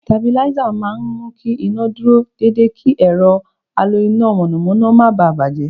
Sitabiláísà máa mú kí iná o dúró dédé kí ẹ̀rọ alo iná mọ̀nàmọ́ná má bà á bàjẹ́.